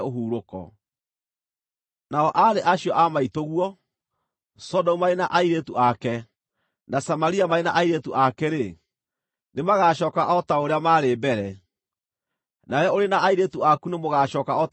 Nao aarĩ acio a maitũguo, Sodomu marĩ na airĩtu ake, na Samaria marĩ na airĩtu ake-rĩ, nĩmagacooka o ta ũrĩa maarĩ mbere; nawe ũrĩ na airĩtu aku nĩmũgacooka o ta ũrĩa mwarĩ mbere.